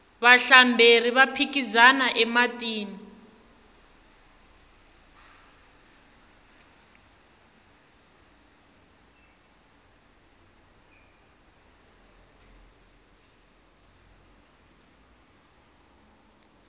vahlamberi va phikizana ematini